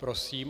Prosím.